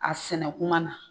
A sɛnɛ kuma na